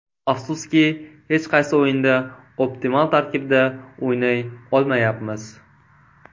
Afsuski, hech qaysi o‘yinda optimal tarkibda o‘ynay olmayapmiz.